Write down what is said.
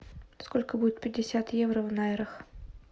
сколько будет пятьдесят евро в найрах